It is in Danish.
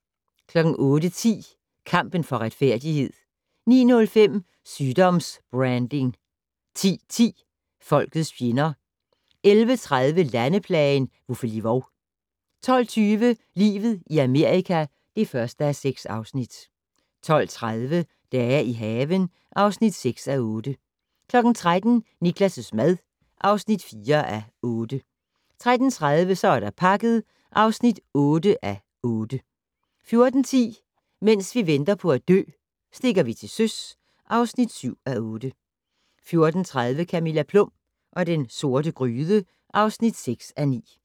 08:10: Kampen for retfærdighed 09:05: Sygdoms-branding 10:10: Folkets fjender 11:30: Landeplagen - Vuffeli-vov 12:20: Livet i Amerika (1:6) 12:30: Dage i haven (6:8) 13:00: Niklas' mad (4:8) 13:30: Så er der pakket (8:8) 14:10: Mens vi venter på at dø - Stikker vi til søs (7:8) 14:30: Camilla Plum og den sorte gryde (6:9)